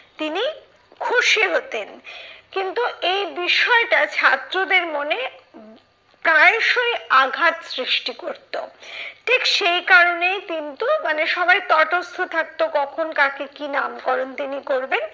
খুশি হতেন। কিন্তু এই বিষয়টা ছাত্রদের মনে প্রায়শই আঘাত সৃষ্টি করতো। ঠিক সেই কারণেই কিন্তু মানে সবাই তটস্থ থাকতো কখন কাকে কি নামকরণ তিনি করবেন,